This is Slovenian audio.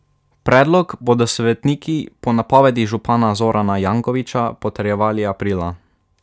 Predlog bodo svetniki po napovedi župana Zorana Jankovića potrjevali aprila.